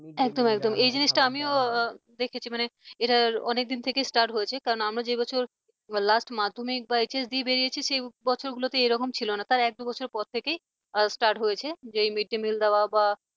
একদম একদম এই জিনিসটা আমিও দেখেছি মানে এটা অনেকদিন থেকে start হয়েছে কারণ আমরা যে বছর last মাধ্যমিক বা HS দিয়ে বেরিয়েছি সে বছরগুলোতে এরকম ছিল না তার এক দু'বছর পর থেকে start হয়েছে যেই mid day meal দেওয়া বা